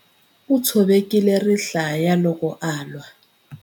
U tshovekile rihlaya loko a lwa.